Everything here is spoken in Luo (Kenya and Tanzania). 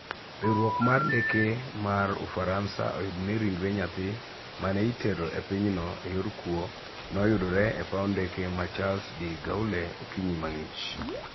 Riwruok mar ndeke mar Ufaransa oyudo ni ringre nyathi mane itero e pinyno eyor kuwo noyudore e paw ndeke ma Charles de Gaulle okinyi mang'ich.